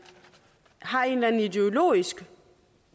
har et eller andet ideologisk